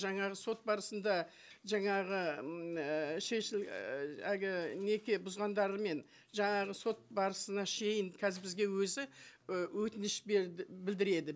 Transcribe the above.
жаңағы сот барысында жаңағы м э і әлгі неке бұзғандар мен жаңағы сот барысына шейін қазір бізге өзі і өтініш і білдіреді